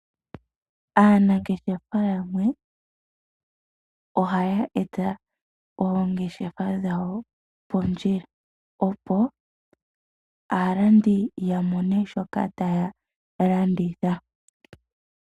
Aanangeshefa yamwe ohaya eta oongeshefa dhawo pondjila, opo aantu ya mone shoka taya landitha.